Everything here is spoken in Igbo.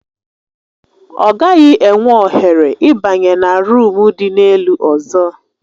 Ọ gaghị enwe ohere ịbanye na ruumu dị n'elu ọzọ